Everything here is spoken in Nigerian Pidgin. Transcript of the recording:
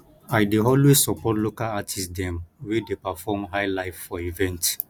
i dey always support local artist dem wey dey perform highlife for event